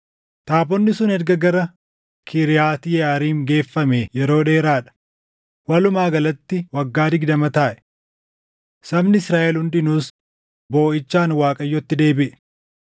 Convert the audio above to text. Taabonni sun erga gara Kiriyaati Yeʼaariim geeffamee yeroo dheeraa dha; walumaa galatti waggaa digdama taaʼe. Sabni Israaʼel hundinuus booʼichaan Waaqayyotti deebiʼe.